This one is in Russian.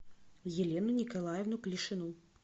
елену николаевну клишину